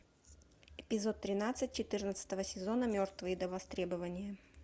эпизод тринадцать четырнадцатого сезона мертвые до востребования